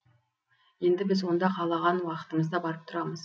енді біз онда қалаған уақытымызда барып тұрамыз